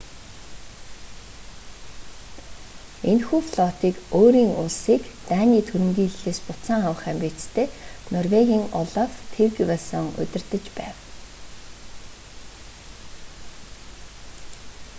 энэхүү флотыг өөрийн улсыг даний түрэмгийллээс буцаан авах амбицтай норвегийн олаф тригвассон удирдаж байв